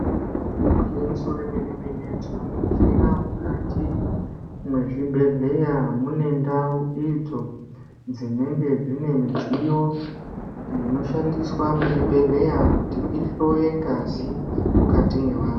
Igwinyiso remene mene tinoningisa mukati mezvibhedhleya mune ndau idzo dzinenge dzine midziyo inoshandiswa muzvibhedhleya kuti ihloye ngazi mukati mwevantu.